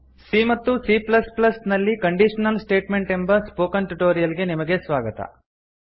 C ಮತ್ತು C plus plus ಸಿಎ ನಲ್ಲಿ ಕಂಡೀಶನಲ್ ಸ್ಟೇಟ್ಮೆಂಟ್ ಎಂಬ ಸ್ಪೋಕನ್ ಟ್ಯುಟೋರಿಯಲ್ ಗೆ ನಿಮಗೆ ಸ್ವಾಗತ